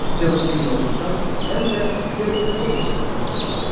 Cənubi Yunanıstan həm də Peloponnes adlanırdı.